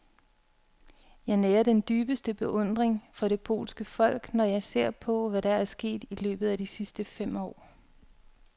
Jeg nærer den dybeste beundring for det polske folk, når jeg ser på, hvad der er sket i løbet af de sidste fem år.